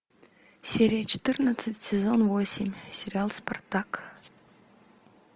серия четырнадцать сезон восемь сериал спартак